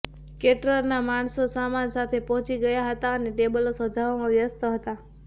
કેટરરના માણસો સામાન સાથે પહોંચી ગયા હતા અને ટેબલો સજાવવામાં વ્યસ્ત હતા